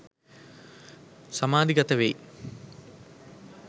සමාධිගත වෙයි.